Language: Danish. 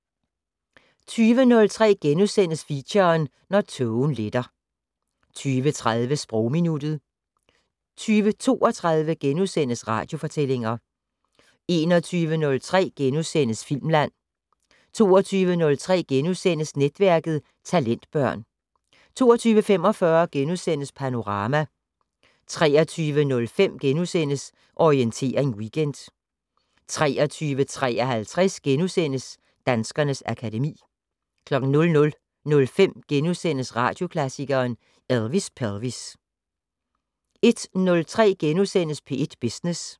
20:03: Feature: Når tågen letter * 20:30: Sprogminuttet 20:32: Radiofortællinger * 21:03: Filmland * 22:03: Netværket: Talentbørn * 22:45: Panorama * 23:05: Orientering Weekend * 23:53: Danskernes akademi * 00:05: Radioklassikeren: Elvis Pelvis * 01:03: P1 Business *